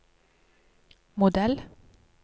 modell